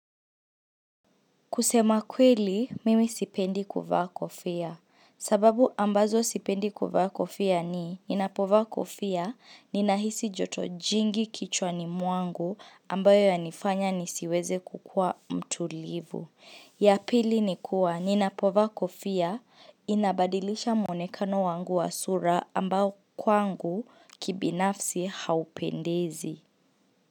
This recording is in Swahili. Kusema kweli, mimi sipendi kuvaa kofia. Sababu ambazo sipendi kuvaa kofia ni, ninapovaa kofia, ninahisi joto jingi kichwa ni mwangu ambayo inanifanya nisiweze kuwa mtulivu. Ya pili ni kuwa, ninapovaa kofia, inabadilisha mwonekano wangu wa sura ambao kwangu kibinafsi haupendezi.